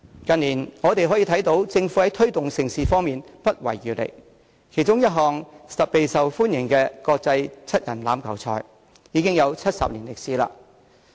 近年，我們可以看到政府在推動盛事方面不遺餘力，其中一直備受歡迎的國際七人欖球賽，已有40年歷史。